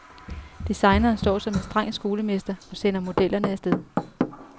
Designeren står som en streng skolemester og sender modellerne afsted.